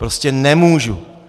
Prostě nemůžu.